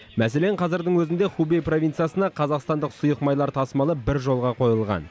мәселен қазірдің өзінде хубей провинциясына қазақстандық сұйық майлар тасымалы бір жолға қойылған